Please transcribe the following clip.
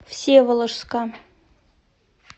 всеволожска